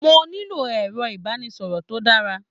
Mo nílò ẹ̀rọ-ìbánisọ̀rọ̀ tó dára.